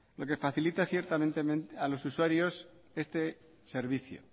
lo que facilita ciertamente a los usuarios este servicio